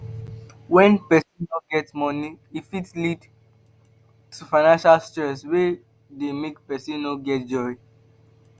When person no get money e fit lead to financial stress wey dey make person no get joy